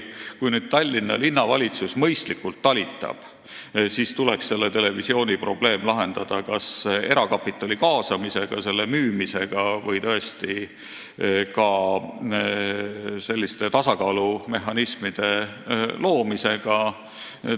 Kui nüüd Tallinna Linnavalitsus mõistlikult talitab, siis tuleks selle televisiooni probleem lahendada kas erakapitali kaasamisega, müümisega või tõesti tasakaalumehhanismide loomisega.